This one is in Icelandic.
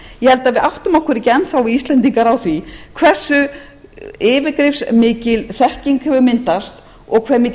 held að við áttum okkur ekki enn þá við íslendingar á því hversu yfirgripsmikil þekking hefur myndast og hve mikill